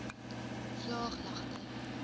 vlaaglagte